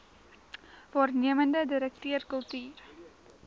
waarnemende direkteur kultuur